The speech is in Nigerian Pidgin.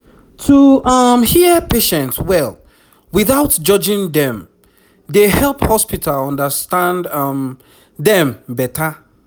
to um hear patient well without judging dem dey help hospital understand um dem better